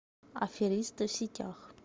аферисты в сетях